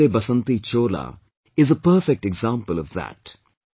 'Mera Rang de Basanti Chola' is a perfect example of that